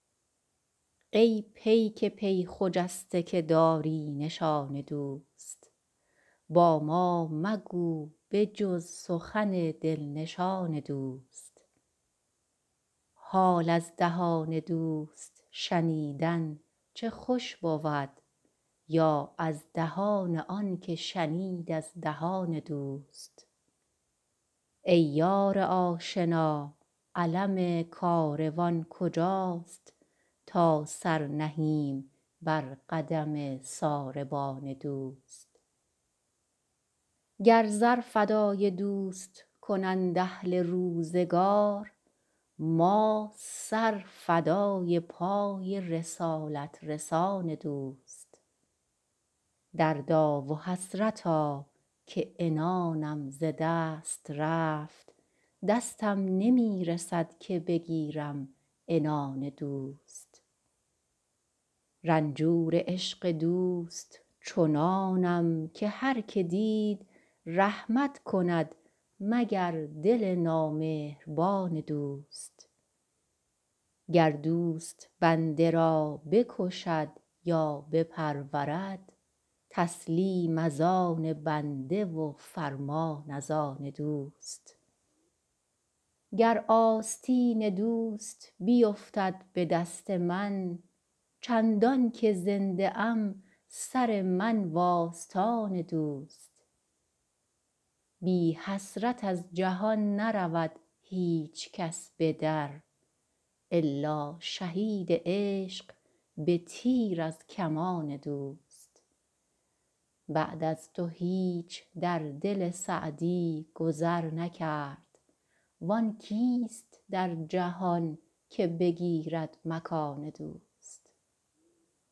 ای پیک پی خجسته که داری نشان دوست با ما مگو به جز سخن دل نشان دوست حال از دهان دوست شنیدن چه خوش بود یا از دهان آن که شنید از دهان دوست ای یار آشنا علم کاروان کجاست تا سر نهیم بر قدم ساربان دوست گر زر فدای دوست کنند اهل روزگار ما سر فدای پای رسالت رسان دوست دردا و حسرتا که عنانم ز دست رفت دستم نمی رسد که بگیرم عنان دوست رنجور عشق دوست چنانم که هر که دید رحمت کند مگر دل نامهربان دوست گر دوست بنده را بکشد یا بپرورد تسلیم از آن بنده و فرمان از آن دوست گر آستین دوست بیفتد به دست من چندان که زنده ام سر من و آستان دوست بی حسرت از جهان نرود هیچ کس به در الا شهید عشق به تیر از کمان دوست بعد از تو هیچ در دل سعدی گذر نکرد وآن کیست در جهان که بگیرد مکان دوست